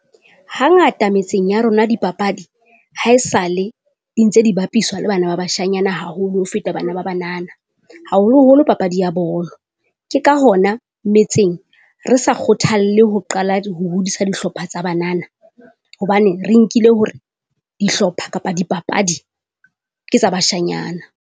Hangata metseng ya rona dipapadi, haesale di ntse di bapiswa le bana ba bashanyana haholo ho feta bana ba banana, haholoholo papadi ya bolo. Ke ka hona metseng re sa kgothalle ho qala ho hodisa dihlopha tsa banana, hobane re nkile hore dihlopha kapa dipapadi ke tsa bashanyana.